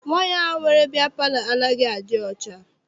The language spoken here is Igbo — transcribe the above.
Nwaanyi ahụ nwere bịya palọ anaghị adị ọcha.